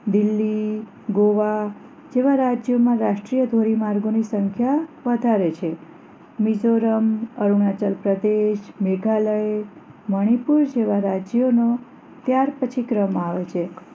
દિલ્હી ગોઆ જેવા રાજ્યોમાં રાષ્ટ્રીય ધોરીમાર્ગો ની સંખ્યા વધારે છે મિઝોરમ અરુણાચલ પ્રદેશ મેઘાલય મણીપુર જેવા રાજ્યો નો ત્યારપછી ક્રમ આવે છે